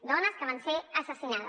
dones que van ser assassinades